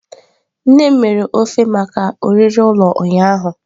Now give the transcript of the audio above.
Nne m mere ofe maka oriri ụlọ ụnyahụ.